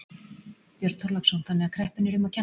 Björn Þorláksson: Þannig að kreppunni er um að kenna?